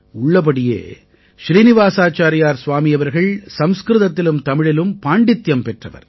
உள்ளபடியே ஸ்ரீநிவாஸாச்சாரியார் ஸ்வாமி அவர்கள் சம்ஸ்கிருதத்திலும் தமிழிலும் பாண்டித்யம் பெற்றவர்